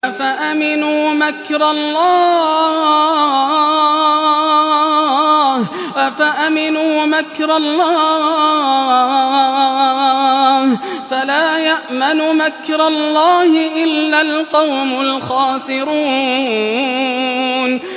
أَفَأَمِنُوا مَكْرَ اللَّهِ ۚ فَلَا يَأْمَنُ مَكْرَ اللَّهِ إِلَّا الْقَوْمُ الْخَاسِرُونَ